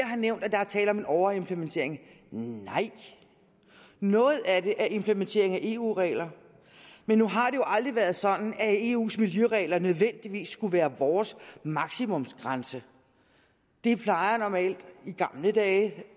har nævnt at der er tale om en overimplementering nej noget af det er implementering af eu regler men nu har det jo aldrig været sådan at grænserne i eus miljøregler nødvendigvis skulle være vores maksimumsgrænser det plejede normalt i gamle dage